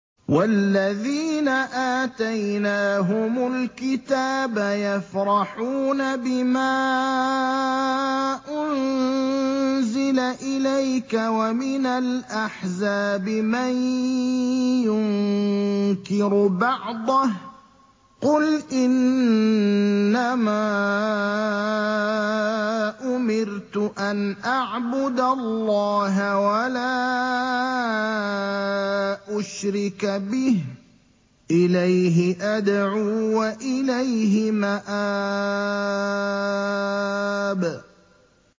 وَالَّذِينَ آتَيْنَاهُمُ الْكِتَابَ يَفْرَحُونَ بِمَا أُنزِلَ إِلَيْكَ ۖ وَمِنَ الْأَحْزَابِ مَن يُنكِرُ بَعْضَهُ ۚ قُلْ إِنَّمَا أُمِرْتُ أَنْ أَعْبُدَ اللَّهَ وَلَا أُشْرِكَ بِهِ ۚ إِلَيْهِ أَدْعُو وَإِلَيْهِ مَآبِ